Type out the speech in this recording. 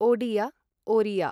Odia Oriya